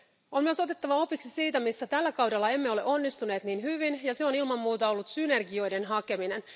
On myös otettava opiksi siitä, missä tällä kaudella emme ole onnistuneet niin hyvin, ja se on ilman muuta ollut synergioiden hakeminen.